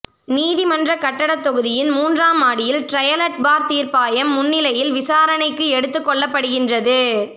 நீதிமன்ற கட்டட தொகுதியின் மூன்றாம் மாடியில் ட்ரயலட் பார் தீர்ப்பாயம் முன்னிலையில் விசாரணைக்கு எடுத்து கொள்ளப்படுகின்றது